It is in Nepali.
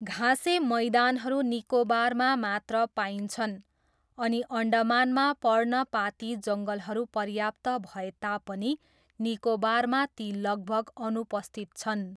घाँसे मैदानहरू निकोबारमा मात्र पाइन्छन् अनि अन्डमानमा पर्णपाती जङ्गलहरू पर्याप्त भए तापनि निकोबारमा ती लगभग अनुपस्थित छन्।